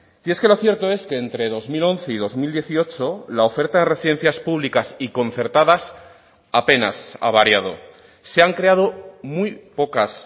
y es que lo cierto es que entre dos mil once y dos mil dieciocho la oferta de residencias públicas y concertadas apenas ha variado se han creado muy pocas